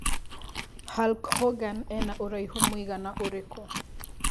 Hulk Hogan ena ũraîhu mũigana ũrikũ